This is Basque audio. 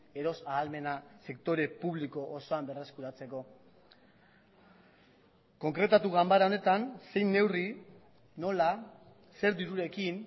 erosahalmena sektore publiko osoan berreskuratzeko konkretatu ganbara honetan zein neurri nola zer dirurekin